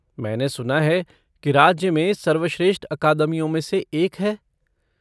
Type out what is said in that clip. मैंने सुना है कि राज्य में सर्वश्रेष्ठ अकादमियों में से एक है?